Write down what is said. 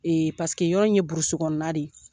paseke yɔrɔ in ye Kɔnɔ de ye.